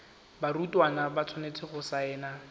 barutwana ba tshwanetse go saena